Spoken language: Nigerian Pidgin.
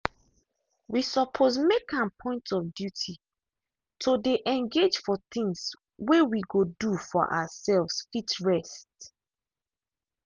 we suppose make am point of duty to dey engage for things way we go do for ourselves fit rest.